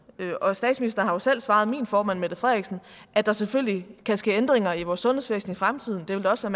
og statsministeren har jo selv svaret min formand mette frederiksen at der selvfølgelig kan ske ændringer i vores sundhedsvæsen i fremtiden